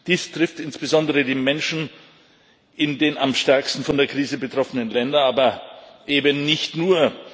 Dies trifft insbesondere die Menschen in den am stärksten von der Krise betroffenen Ländern, aber eben nicht nur.